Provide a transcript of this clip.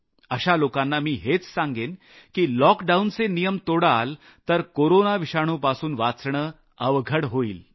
अशा लोकांना मी हेच सांगेन की लॉकडाऊनचे नियम तोडाल तर कोरोना विषाणुपासून वाचणं अवघड होईल